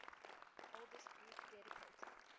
oldest group dedicated